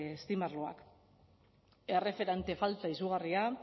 steam arloak erreferente falta izugarria